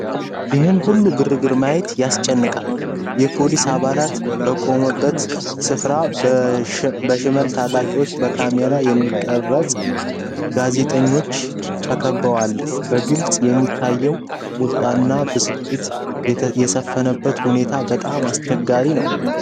ይህን ሁሉ ግርግር ማየት ያስጨንቃል። የፖሊስ አባላት በቆመበት ስፍራ በሽመል ታጣቂዎችና በካሜራ የሚቀርፁ ጋዜጠኞች ተከበዋል። በግልጽ እንደሚታየው፣ ቁጣና ብስጭት የሰፈነበት ሁኔታ በጣም አስቸጋሪ ነው።